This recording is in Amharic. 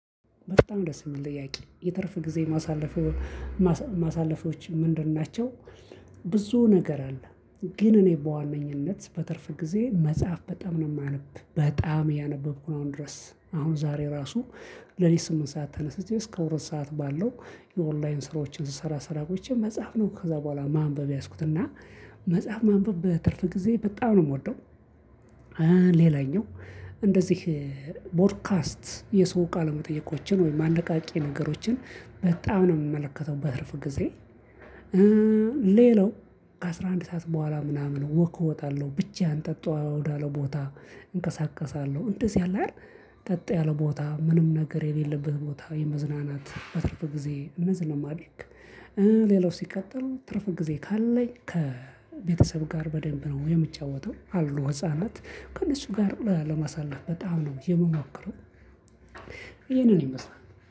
በጣም ደስ የሚል ጥያቄ የትርፍ ጊዜዬ የማሳልፈው ማሳለፎችን ምንድን ናቸው? ብዙ ነገር አለ። ግን እኔ በዋነኝነት በትርፍ ጊዜ መጽሐፍ በጣም ነው የማነብ በጣም እያነበብኩ ድረስ አሁን ዛሬ ራሱ ሌሊት ስምንት ሰዓት ተነስቼ እስከ ሁለት ሰዓት ባለው የኦንላይን ስራዎችን ስሰራ ቆይቼ መጽሐፍ ነው ከዛ በኋላ ማንበብ የያዝኩት እና መጽሐፍ ማንበብ በትርፍ ጊዜ በጣም ነው የምወደው። ሌላኛው እንደዚህ ቦድካስት የሰው ቃለ መጠየቆችን ወይም አነቃቂ ነገሮችን በጣም ነው የምመለከተው በትርፍ ጊዜ። ሌላው ከአስራ አንድ ሰዓት በኋላ ምናምን ወክ እወጣለሁ ብቻህን ጸጥ ወዳለ ቦታ እንቀሳቀሳለሁ እንደዚህ አለ አይደል ጸጥ ያለ ቦታ ምንም ነገር የሌለበት ቦታ የመዝናናት በትርፍ ጊዜዬ እነዚህን ነው የማደርግ። ሌላው ሲቀጥል ትርፍ ጊዜ ካለኝ ከቤተሰብ ጋር በደንብ ነው የምጫወተው አሉ ህፃናት ከእነሱ ጋር ለማሳለፍ በጣም ነው የምሞክረው። ይሄንን ይመስላል